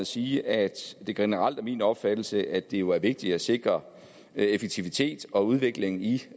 sige at det generelt er min opfattelse at det jo er vigtigt at sikre effektivitet og udvikling i